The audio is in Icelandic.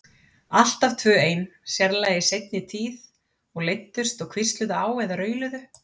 Alltaf tvö ein, sérlega í seinni tíð, og leiddust og hvísluðust á eða rauluðu.